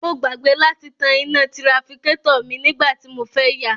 Mo gbàgbé láti tan iná tirafikátọ̀ mi nígbà tí mo fẹ́ yà